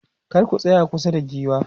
kar ku tsaya kusa da giwa